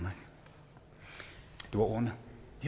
var ordene